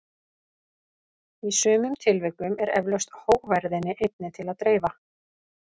Í sumum tilvikum er eflaust hógværðinni einni til að dreifa.